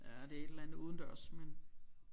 Ja det er et eller andet udendørs men